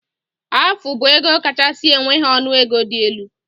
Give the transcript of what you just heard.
Afu bu ego kachasi enweghi ọnụ ego di elu.